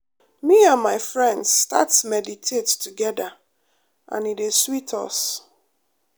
me and my friends start meditate together and e dey sweet us.